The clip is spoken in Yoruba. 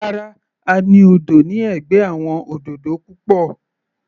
Rárá, a ní odò ní ẹ̀gbẹ́ àwọn òdòdó púpọ̀.